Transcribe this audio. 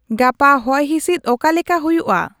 ᱜᱟᱯᱟ ᱦᱚᱭᱦᱤᱥᱤᱫ ᱚᱠᱟ ᱞᱮᱠᱟ ᱦᱩᱭᱩᱜᱼᱟ ?